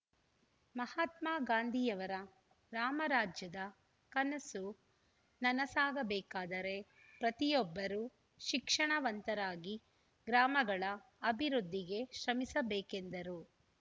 ಮಹಾತ್ಮ ಗಾಂಧಿಯವರ ರಾಮರಾಜ್ಯದ ಕನಸು ನನಸಾಗಬೇಕಾದರೆ ಪ್ರತಿಯೊಬ್ಬರೂ ಶಿಕ್ಷಣವಂತರಾಗಿ ಗ್ರಾಮಗಳ ಅಭಿವೃದ್ದಿಗೆ ಶ್ರಮಿಸಬೇಕೆಂದರು